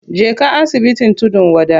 Je ka asibitin tudun wada.